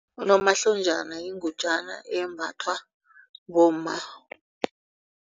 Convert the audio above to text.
Unomahlonjana yingutjana embathwa bomma.